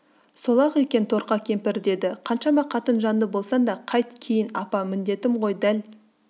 сол-ақ екен торқа кемпір деді қаншама қатынжанды болсаң да қайт кейін апа міндетім ғой дәл